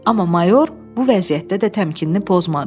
Amma mayor bu vəziyyətdə də təmkinini pozmadı.